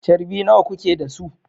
Charbi nawa kuke da su?